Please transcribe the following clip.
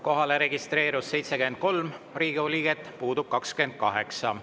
Kohalolijaks registreerus 73 Riigikogu liiget, puudub 28.